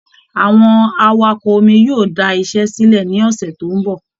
Àwọn awakọ omi yóò da iṣẹ́ sílẹ̀ ní ọ̀sẹ̀ tó ń bọ̀